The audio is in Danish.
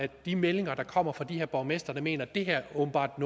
de meldinger der kommer fra de her borgmestre der mener at det her åbenbart